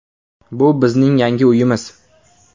Bu bizning yangi uyimiz.